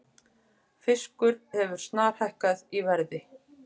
Fiskur hefur snarhækkað í verði